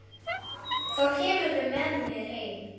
Þá kemurðu með mér heim.